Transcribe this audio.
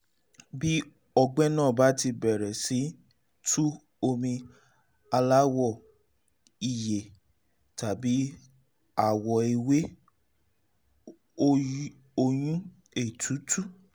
bí ọgbẹ́ náà bá ti bẹ̀rẹ̀ sí tú omi aláwọ̀ ìyeyè tàbí àwọ̀ ewé (ọyún/ètútú)